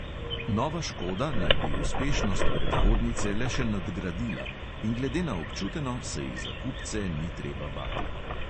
Nova škoda naj bi uspešnost predhodnice le še nadgradila in glede na občuteno se ji za kupce ni treba bati.